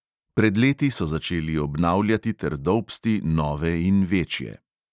Pred leti so začeli obnavljati ter dolbsti nove in večje.